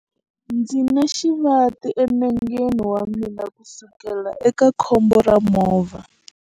Ndzi na xivati enengeni wa mina kusukela eka khombo ra movha.